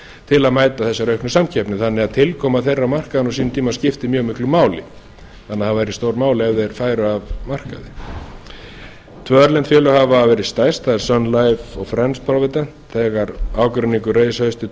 til að mæta þessari auknu samkeppni þannig að tilkoma þeirra markaða á sínum tíma skiptir mjög miklu máli þannig að það væri stórmál ef þeir færu af markaði tvö erlend félög hafa verið stærst það er sun life og provident þegar ágreiningur reis haustið